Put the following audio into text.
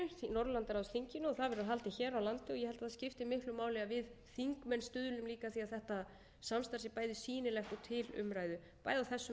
norðurlandaráðsþinginu og það verður haldið hér á landi og ég held að það skipti miklu máli að við þingmenn stuðlum líka að því að þetta samstarf sé bæði